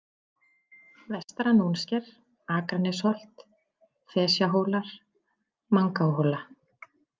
Vestara-Nónsker, Akranesholt, Flesjahólar, Mangahola